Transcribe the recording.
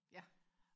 ja